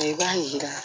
I b'a yira